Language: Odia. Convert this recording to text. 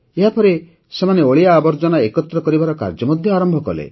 ଏହାପରେ ସେମାନେ ଅଳିଆ ଆବର୍ଜନା ଏକତ୍ର କରିବାର କାର୍ଯ୍ୟ ମଧ୍ୟ ଆରମ୍ଭ କଲେ